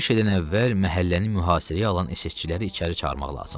Hər şeydən əvvəl məhəlləni mühasirəyə alan SSçiləri içəri çağırmaq lazımdır.